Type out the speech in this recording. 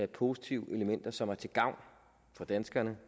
positive elementer som er til gavn for danskerne